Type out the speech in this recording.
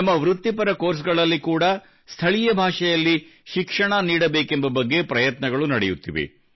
ನಮ್ಮ ವೃತ್ತಿಪರ ಕೋರ್ಸ್ಗಳಲ್ಲಿ ಕೂಡಾ ಸ್ಥಳೀಯ ಭಾಷೆಯಲ್ಲಿ ಶಿಕ್ಷಣ ನೀಡಬೇಕೆಂಬ ಬಗ್ಗೆ ಪ್ರಯತ್ನಗಳು ನಡೆಯುತ್ತಿವೆ